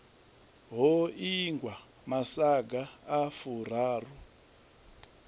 ho ingwa masaga a furaru